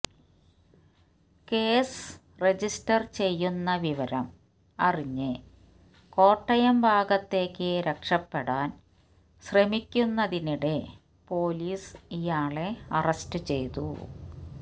case register ചെയ്യുന്ന വിവരം അറിഞ്ഞ് കോട്ടയം ഭാഗത്തേക്ക് രക്ഷപ്പെടാന് ശ്രമിക്കുന്നതിനിടെ പൊലീസ് ഇയാളെ അറസ്റ്റ് ചെയ്തു